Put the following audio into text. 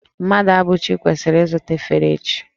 Mmadụabụchi kwesiri izuta efere echi